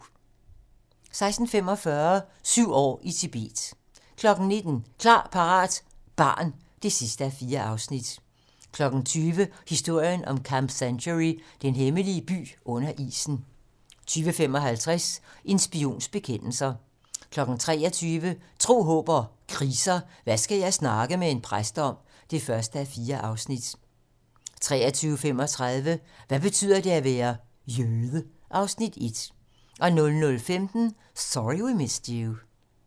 16:45: Syv år i Tibet 19:00: Klar, parat - barn (4:4) 20:00: Historien om Camp Century: Den hemmelige by under isen 20:55: En spions bekendelser 23:00: Tro, håb & kriser: Hvad skal jeg snakke med en præst om? (1:4) 23:35: Hvad betyder det at være: Jøde? (Afs. 1) 00:15: Sorry We Missed You